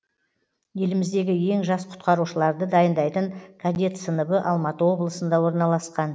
еліміздегі ең жас құтқарушыларды дайындайтын кадет сыныбы алматы облысында орналасқан